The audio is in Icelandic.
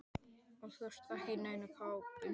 Og þú ert ekki í neinni kápu.